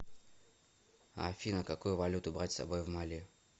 афина какую валюту брать с собой в мали